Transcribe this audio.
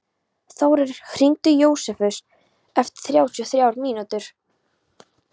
Þórir, hringdu í Jósefus eftir þrjátíu og þrjár mínútur.